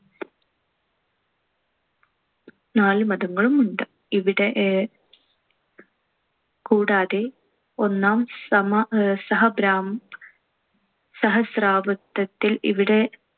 നാലു മതങ്ങളും ഉണ്ട്. ഇവിടെ ഏർ കൂടാതെ ഒന്നാം സമ~ അഹ് സഹബ്രാ~ സഹസ്രാബ്ദത്തിൽ ഇവിടെ